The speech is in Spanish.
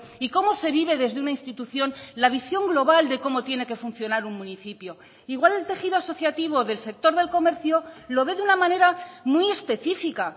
y cómo se vive desde una institución la visión global de cómo tiene que funcionar un municipio igual el tejido asociativo del sector del comercio lo ve de una manera muy específica